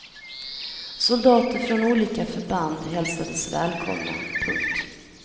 Soldater från olika förband hälsades välkomna. punkt